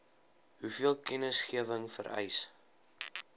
hoeveel kennisgewing vereis